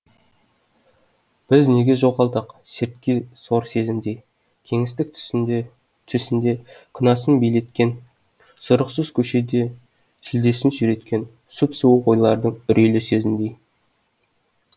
біз неге жоғалдық сертке сор сезімдей кеңістік төсінде күнәсін билеткен сұрықсыз көшеде сүлдесін сүйреткен сұп суық ойлардың үрейлі сөзіндей